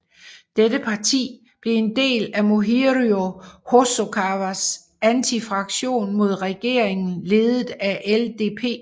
Dette parti blev en del af Morihiro Hosokawas antifraktion mod regeringen ledet af LDP